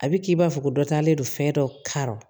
A bɛ k'i b'a fɔ ko dɔ talen don fɛn dɔ karɔ